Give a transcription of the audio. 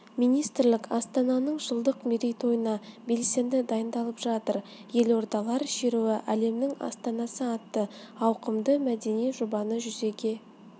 министрлік астананың жылдық мерейтойына белсенді дайындалып жатыр елордалар шеруі әлемнің астанасы атты ауқымды мәдени жобаны жүзеге